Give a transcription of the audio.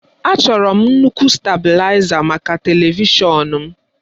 Achọrọ m nnukwu stabụlaiza maka televishọn m.